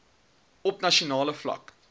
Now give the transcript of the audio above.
op nasionale vlak